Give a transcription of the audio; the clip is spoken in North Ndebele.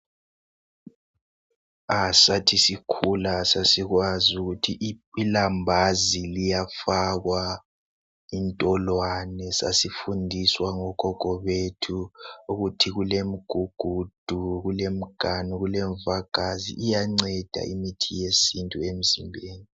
Sathi sikhula sasikwazi ukuthi ilambazi liyafakwa intolwane ,sasifundiswa ngogogo bethu ukuthi iulemigugudu, kulemiganu, kulemvagazi iyanceda imithi yesintu emzimbeni.